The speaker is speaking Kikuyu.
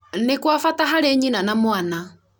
nĩ kwa bata harĩ nyina na mwana